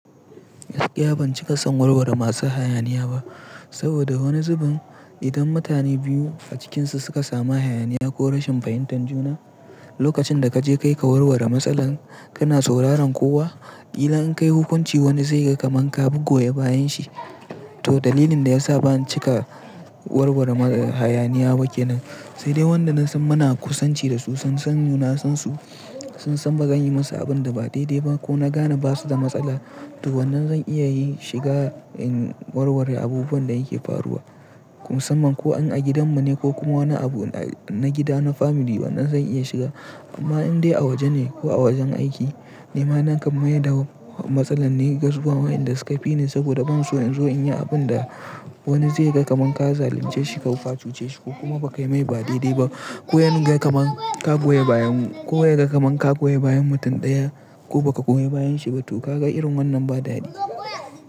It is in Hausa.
Gaskiya ban cika son warware masu hayaniya ba, saboda wani zubin idan mutane biyu a cikinsu suka samu hayaniya ko rashin fahimtar juna, lokacin da ka je ka yi ka warware matsalar, kana sauraron kowa. Idan an kai hukunci wani zai ga kaman ka bugoye bayanshi. To dalilin da ya sa ban cika warware hayaniya ba ke nan, sai dai wanda na san muna kusanci da su, sun san ni san su, na san ba zan yi musu abin da ba daidai ba ko na gane basu da matsala. To wannan zan iya yin shiga in warware abubuwan da yake faruwa, musamman ko an a gidanmu ne ko kuma wani abu na gida na family wannan zan iya shiga. Amma indai a waje ne ko a wajen aiki, nima na kam maida matsalar ne gar Wannan inda suka fi ni saboda ban so in zo in yi abin da wani zai ga kaman ka zalunce shi ko ka cuce shi ko kuma ba ka yi mai ba daidai ba. Ko ya nuna kaman ka goya bayan, ko ya ga kaman ka goya bayan mutum ɗaya ko ba ka goya bayan shi ba to ka ga irin wannan ba dadi.